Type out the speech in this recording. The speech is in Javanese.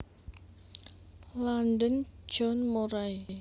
London John Murray